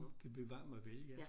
Bevar mig vel ja